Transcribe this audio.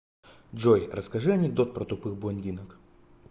джой расскажи анекдот про тупых блондинок